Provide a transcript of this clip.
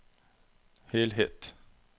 helhet